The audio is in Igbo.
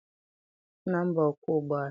Nna m bụ ọkwọ ụgbọala.